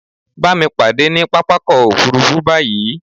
Bámi pàdé ní pápákọ̀ òfurufú báyí!